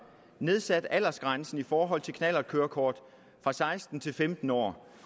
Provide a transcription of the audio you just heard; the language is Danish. nedsat aldersgrænsen for knallertkørekort fra seksten til femten år